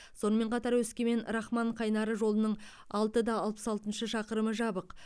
сонымен қатар өскемен рахман қайнары жолының алты да алпыс алтыншы шақырымы жабық